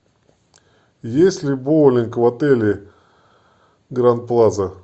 есть ли боулинг в отеле гранд плаза